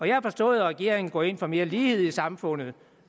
jeg har forstået at regeringen går ind for mere lighed i samfundet